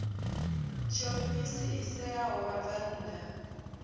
tshiofisi i ṋeaho vhabvann ḓa